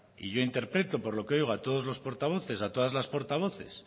y yo interpreto por lo que oigo a todos los portavoces a todas las portavoces